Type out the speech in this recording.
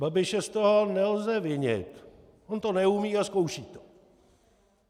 Babiše z toho nelze vinit, on to neumí a zkouší to.